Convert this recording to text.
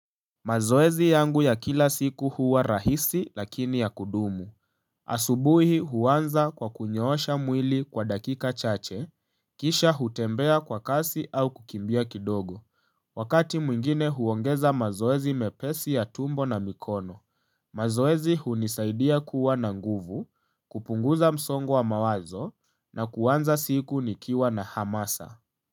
Mazoezi yangu ya kila siku huwa rahisi lakini ya kudumu. Asubuhi huanza kwa kunyoosha mwili kwa dakika chache, kisha hutembea kwa kasi au kukimbia kidogo. Wakati mwingine huongeza mazoezi mepesi ya tumbo na mikono, mazoezi hunisaidia kuwa na nguvu, kupunguza msongo wa mawazo na kuanza siku nikiwa na hamasa.